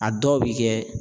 A dɔw bɛ kɛ